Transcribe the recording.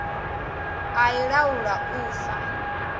a i laula u fa